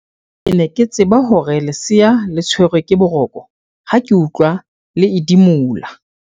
ke ne ke tseba hore lesea le tshwerwe ke boroko ha ke utlwa le edimola